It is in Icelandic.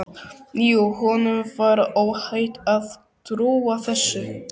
Jú, honum var óhætt að trúa þessu!